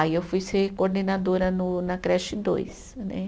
Aí eu fui ser coordenadora no na creche dois, né